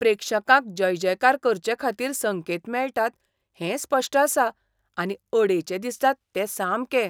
प्रेक्षकांक जयजयकार करचेखातीर संकेत मेळटात हें स्पश्ट आसा आनी अडेचें दिसता तें सामकें.